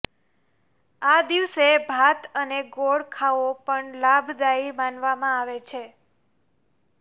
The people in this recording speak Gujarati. આ દિવસે ભાત અને ગોળ ખાવો પણ લાભદાયી માનવામાં આવે છે